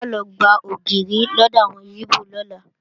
A lọ gba ògìrì lọ́dọ̀ àwọn ígbò lọ́la